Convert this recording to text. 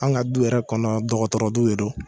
Anw ka du yɛrɛ kɔnɔ, dɔgɔtɔrɔ du de don.